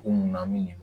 Ko munna